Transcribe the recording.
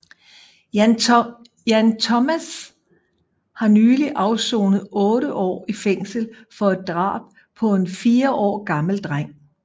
Jan Thomas har nylig afsonet otte år i fængsel for et drab på en 4 år gammel dreng